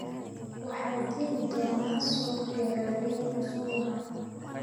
Waxaa jiri doona suuq beeraley usbuucan